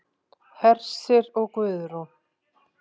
Hersir og Guðrún.